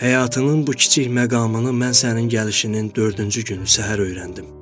Həyatının bu kiçik məqamını mən sənin gəlişinin dördüncü günü səhər öyrəndim.